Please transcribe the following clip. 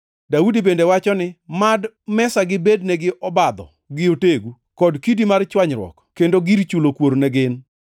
Daudi bende wacho ni: “Mad mesagi bednegi obadho gi otegu, kod kidi mar chwanyruok kendo gir chulo kuor ne gin.